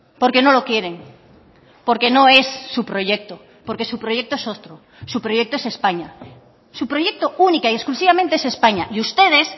porque no lo quieren porque no es su proyecto porque su proyecto es otro su proyecto es españa su proyecto única y exclusivamente es españa y ustedes